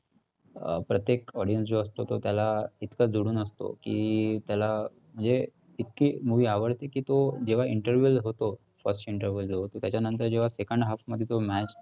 अं प्रत्येक audiience जो असतो तो त्याला इतकं जोडून असतो की त्याला म्हणजे इतकी movie आवडते की तो जेव्हा interval होतो, first interval जो होतो त्याच्यानंतर जेव्हा second half मध्ये तो match